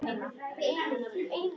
Mun þurfa að bíða lengi.